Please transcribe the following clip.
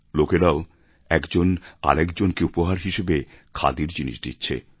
লোকেরাও একজন আরেকজনকে উপহার হিসেবে খাদির জিনিস দিচ্ছে